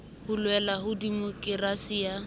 ho loela ha demokerasi ya